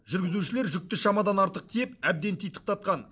жүргізушілер жүкті шамадан артық тиеп әбден титықтатқан